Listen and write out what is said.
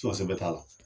t'a la